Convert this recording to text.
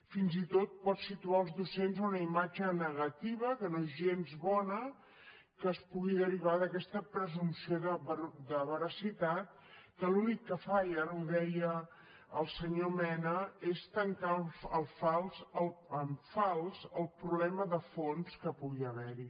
fins i tot pot situar els docents en una imatge negativa que no és gens bona que es pugui derivar d’aquesta presumpció de veracitat que l’únic que fa i ara ho deia el senyor mena és tancar en fals el problema de fons que pugui haver hi